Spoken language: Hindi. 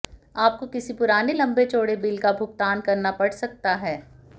आपको किसी पुराने लम्बे चौड़े बिल का भुगतान करना पड़ सकता है